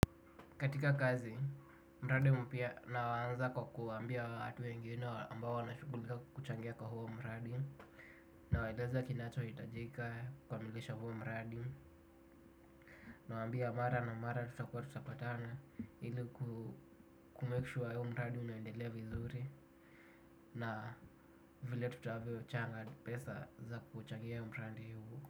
Katika kazi, mradi mpya naanza kwa kuwambia watu wengine ambao wanashughulika kukuchangia kwa huo mradi. Nawaeleza kinachohitajika kukamilisha huo mradi. Na waambia mara na mara tutakua tutapatana ili ku make sure huo mradi unaendelea vizuri. Na vile tutavyochanga pesa za kuchangia mradi huo.